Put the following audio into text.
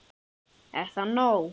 Er það nóg?